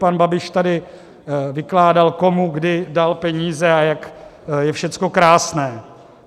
Pan Babiš tady vykládal, komu kdy dal peníze a jak je všecko krásné.